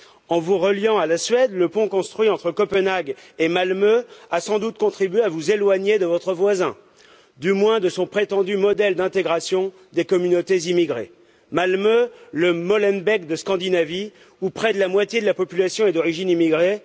En vous reliant à la Suède, le pont construit entre Copenhague et Malmö a sans doute contribué à vous éloigner de votre voisin, du moins de son prétendu modèle d'intégration des communautés immigrées. Malmö, le Molenbeek de Scandinavie, où près de la moitié de la population est d'origine immigrée